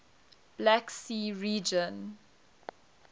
black sea region